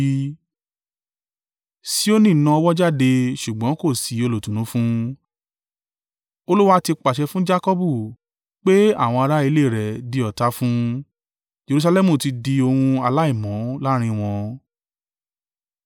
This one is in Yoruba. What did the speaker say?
Sioni na ọwọ́ jáde, ṣùgbọ́n kò sí olùtùnú fún un. Olúwa ti pàṣẹ fún Jakọbu pé àwọn ará ilé rẹ̀ di ọ̀tá fún un Jerusalẹmu ti di ohun aláìmọ́ láàrín wọn.